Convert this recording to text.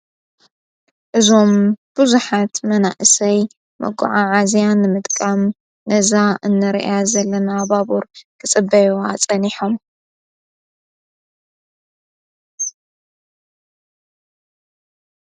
እዞም ብዙኃት መናእሰይ መጎዓዓዝያን ምጥቃም ነዛ እነ ርያ ዘለና ባቡር ክጽበይዋ ጸኒሖም::